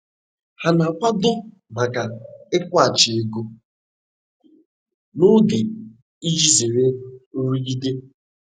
Ha na-akwado maka ịkwụghachi ego n'oge iji zere nrụgide